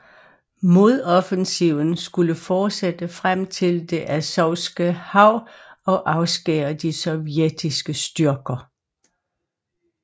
Modoffensiven skulle fortsætte frem til det Azovske Hav og afskære de sovjetiske styrker